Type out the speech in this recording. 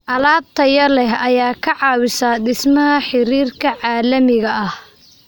Alaab tayo leh ayaa ka caawisa dhismaha xiriirka caalamiga ah.